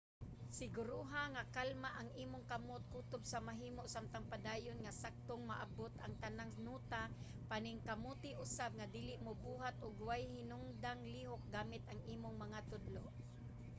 siguruha nga kalma ang imong kamot kutob sa mahimo samtang padayon nga saktong maabot ang tanang nota - paningkamuti usab nga dili mobuhat og way hinungdang lihok gamit ang imong mga tudlo